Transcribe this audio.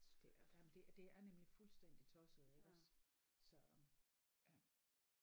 Det nej men det det er nemlig fuldstændig tosset iggås så øh